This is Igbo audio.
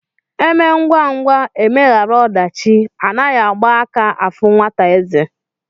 Emee ngwa ngwa emeghara odachi Anaghi Agba aka afu nwata eze